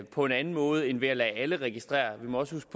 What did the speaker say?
på en anden måde end ved at lade alle registrere vi må også